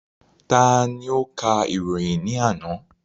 Ta ni ó ka ìròyìn ní àná?